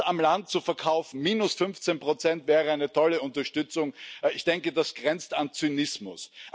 Uns auf dem Land zu verkaufen, minus 15 wäre eine tolle Unterstützung ich denke, das grenzt an Zynismus!